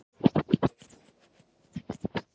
En þetta er þeirra land